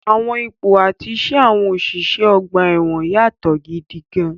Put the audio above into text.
Àwọn ipò àti iṣẹ́ àwọn òṣìṣẹ́ ọgbà ẹ̀wọ̀n yàtọ̀ gidi gan-an.